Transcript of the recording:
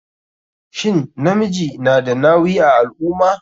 Shin namiji na da nawi a alummah?